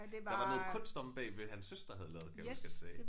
Der var noget kunst omme bagved hans søster havde lavet kan jeg huske han sagde